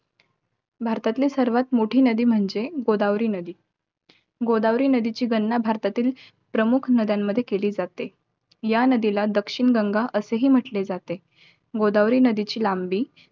भारतातली सर्वात मोठी नदी म्हणजे, गोदावरी नदी. गोदावरी नदीची गणना, भारतातील प्रमुख नद्यांमध्ये केली जाते. या नदीला दक्षिण गंगा असेही म्हंटले जाते. गोदावरी नदीची लांबी